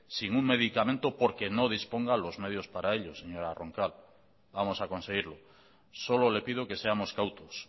sin un medicamento porque no disponga los medios para ello señora roncal vamos a conseguirlo solo le pido que seamos cautos